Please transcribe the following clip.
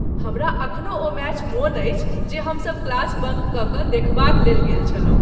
हमरा एखनो ओ मैच मोन अछि जे हम सब क्लास बंक क क देखबाक लेल गेल छलहुँ।